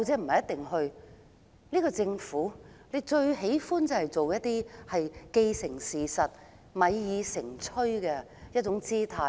可是，這個政府最喜歡製造"既成事實"或"米已成炊"的狀態。